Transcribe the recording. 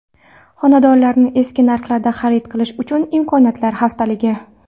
Xonadonlarni eski narxlarda xarid qilish uchun imkoniyatlar haftaligi.